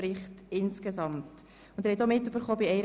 Wer die Planungserklärung 1 annehmen will, stimmt Ja.